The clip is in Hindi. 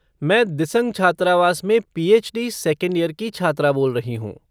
मैं दिसंग छात्रावास में पी.एच.डी. सेकंड ईयर की छात्रा बोल रही हूँ।